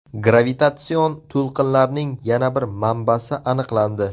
Gravitatsion to‘lqinlarning yana bir manbasi aniqlandi.